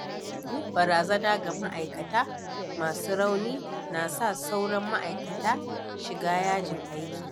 Yin barazana ga ma’aikata masu rauni na sa sauran ma’aikata shiga yajin aiki.